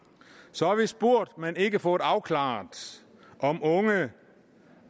så har vi spurgt men ikke fået afklaret om unge